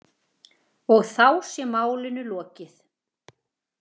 Og þá sé málinu lokið.